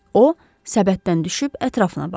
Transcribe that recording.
O, səbətdən düşüb ətrafına baxdı.